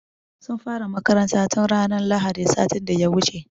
Sun fara makarantar tun ranar lahadin sati da ya wuce.